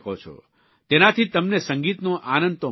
તેનાથી તમને સંગીતનો આનંદ તો મળશે જ